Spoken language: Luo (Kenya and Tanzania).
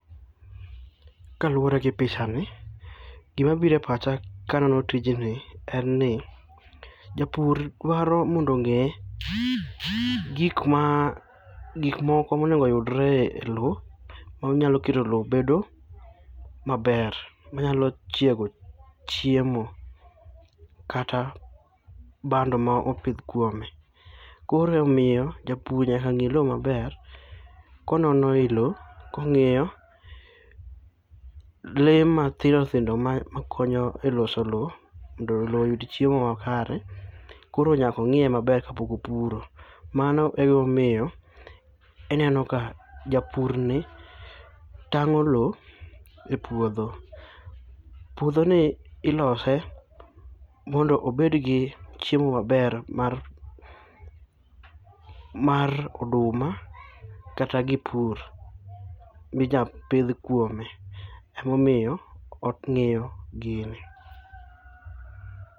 Kaluore gi pichani, gimabiro e pacha kaneno tijni en ni japur dwaro mondo ong'e gik moko monego yudre e lowo manyalo keto lowo bedo maber, manyalo chiego chiemo, kata bando ma opidh kuome. Koro omiyo japur nyaka ng'i lowo maber, konono i lowo kong'iyo, lee mathindo thindo makonyo e loso lowo mondo lowo oyud chiemo makare. Koro nyaka ong'iye maber kapok opuro. Mano e gimomiyo ineno ka japurni tang'o lowo e puodho. Puodhoni ilose, mondo obedgi chiemo maber mar oduma kata gik pur, minya pidh kuome. Emomiyo ong'iyo gini.